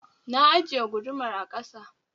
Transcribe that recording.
Na ajiye gudumar a ƙasa